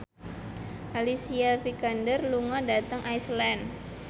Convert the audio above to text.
Alicia Vikander lunga dhateng Iceland